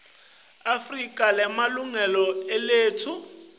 afrika lemalungelo eluntfu